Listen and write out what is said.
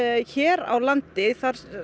hér á landi